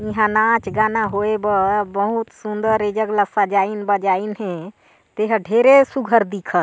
इहाँ नाच गाना होये बा बहुत सूंदर ये जगह ल सजाईन बजाईन हे ते ह ढेरे सुग्घर दिखत--